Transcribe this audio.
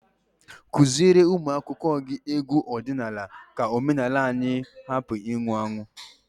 Teach your pupils folk songs so that our culture will not die.